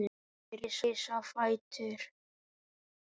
Þeir risu á fætur.